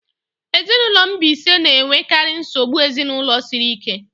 Ezinụlọ mbisa na-enwekarị nsogbu ezinụlọ siri ike